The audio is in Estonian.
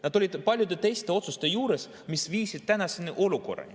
Nad olid paljude teiste otsuste juures, mis viisid tänase olukorrani.